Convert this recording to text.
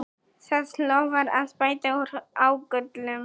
Það lofar að bæta úr ágöllum